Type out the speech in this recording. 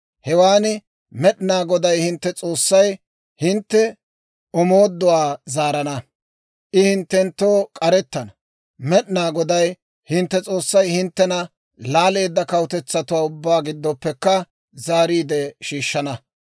hewan Med'inaa Goday hintte S'oossay hintte omooduwaa zaarana; I hinttenttoo k'arettana. Med'inaa Goday hintte S'oossay hinttena laaleedda kawutetsatuwaa ubbaa giddoppekka zaariide shiishshana.